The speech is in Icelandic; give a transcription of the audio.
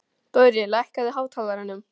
Dorri, lækkaðu í hátalaranum.